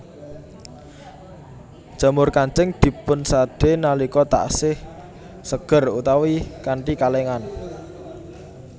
Jamur kancing dipunsadé nalika taksih seger utawi kanthi kalèngan